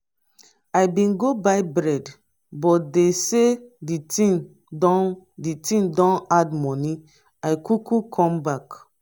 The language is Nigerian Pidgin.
i bin go buy bread but dey sey di tin don di tin don add moni i kuku come back.